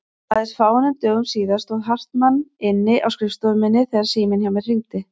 Aðeins fáeinum dögum síðar stóð Hartmann inni á skrifstofu minni þegar síminn hjá mér hringdi.